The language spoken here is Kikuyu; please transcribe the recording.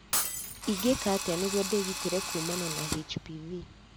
Ingĩka atĩa nĩguo ndĩgitĩre kuumana na HPV?